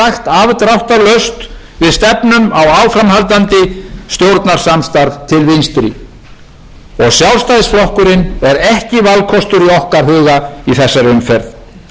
vinstri og sjálfstæðisflokkurinn er ekki valkostur í okkar huga í þessari umferð og þjóðin kaus og gerði minnihlutastjórn vinstri grænna